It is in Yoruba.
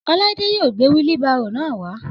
Ọláídé yóò gbé wílí baarò náà wá